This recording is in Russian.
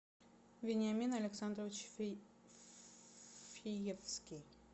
вениамин александрович фиевский